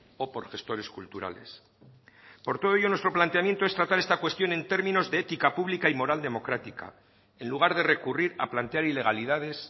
o por gestores culturales por todo ello nuestro planteamiento es tratar esta cuestión en términos de ética pública y moral democrática en lugar de recurrir a plantear ilegalidades